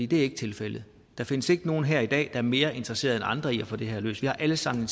det er ikke tilfældet der findes ikke nogen her i dag der er mere interesserede end andre i at få det her løst vi har alle sammen